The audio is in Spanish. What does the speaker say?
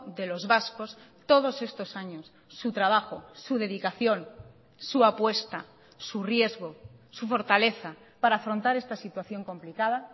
de los vascos todos estos años su trabajo su dedicación su apuesta su riesgo su fortaleza para afrontar esta situación complicada